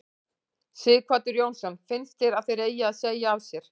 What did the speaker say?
Sighvatur Jónsson: Finnst þér að þeir eigi að segja af sér?